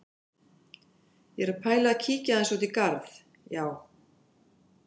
Ég er að pæla í að kíkja aðeins út í garð, já.